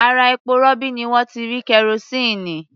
Ara epo-rọ̀bì ni wọ́n ti rí kerosíìnì.